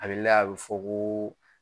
A be layɛ, a be fɔ ko